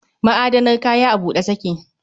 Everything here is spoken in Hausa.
Ma'adanar kaya a bude take